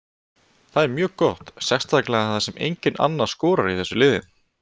Það er mjög gott sérstaklega þar sem enginn annar skorar í þessu liði.